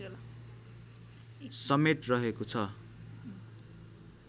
समेत रहेको छ